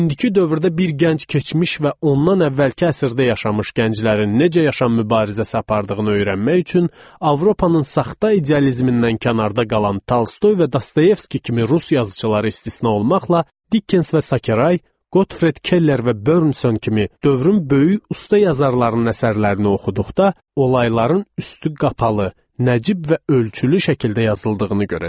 İndiki dövrdə bir gənc keçmiş və ondan əvvəlki əsrdə yaşamış gənclərin necə yaşam mübarizəsi apardığını öyrənmək üçün Avropanın saxta idealizmindən kənarda qalan Tolstoy və Dostoyevski kimi rus yazıçıları istisna olmaqla, Dickens və Sakeray, Gotfred Keller və Bernson kimi dövrün böyük usta yazarlarının əsərlərini oxuduqda olayların üstü qapalı, nəcib və ölçülü şəkildə yazıldığını görəcəkdi.